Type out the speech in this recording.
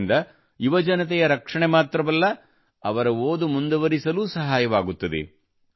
ಇದರಿಂದ ಯುವಜನತೆಯ ರಕ್ಷಣೆ ಮಾತ್ರವಲ್ಲ ಅವರು ಓದು ಮುಂದುವರಿಸಲೂ ಸಹಾಯವಾಗುತ್ತದೆ